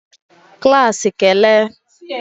klaasị kele!